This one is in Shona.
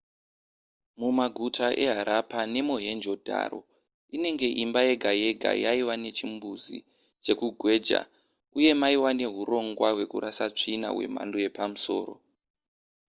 mumaguta eharappa nemohenjo-daro inenge imba yega yega yaiva nechimbuzi chekugweja uye maiva neurongwa hwekurasa tsvina hwemhando yepamusoro